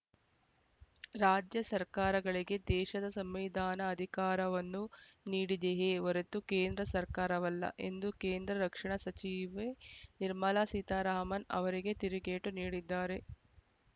ರಾಜ್ಯ ಸರ್ಕಾರಗಳಿಗೆ ದೇಶದ ಸಂವಿಧಾನ ಅಧಿಕಾರವನ್ನು ನೀಡಿದೆಯೇ ಹೊರತು ಕೇಂದ್ರ ಸರ್ಕಾರವಲ್ಲ ಎಂದು ಕೇಂದ್ರ ರಕ್ಷಣಾ ಸಚಿವೆ ನಿರ್ಮಲಾ ಸೀತಾರಾಮನ್‌ ಅವರಿಗೆ ತಿರುಗೇಟು ನೀಡಿದ್ದಾರೆ